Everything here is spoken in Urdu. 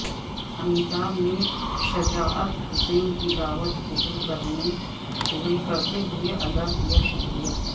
امیتابھ نے شجاعت حسین کی دعوت قبول کرتے ہوئے ادا کیاشکریہ